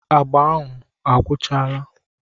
Agba ahụ ọ gwụchala?